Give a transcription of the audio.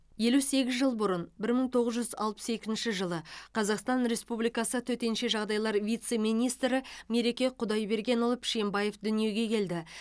елу сегіз жыл бұрын бір мың тоғыз жүз алпыс екінші қазақстан республикасы төтенше жағдайлар вице министрі мереке құдайбергенұлы пішембаев дүниеге келді